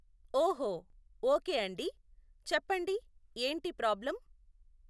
ఓహో, ఓకే అండి, చెప్పండి ఏంటి ప్రాబ్లం.